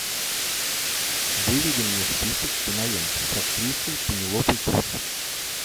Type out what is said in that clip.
выведи мне список кинолент с актрисой пенелопой круз